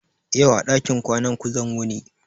Yau a ɗakin ƙwana ku zan wuni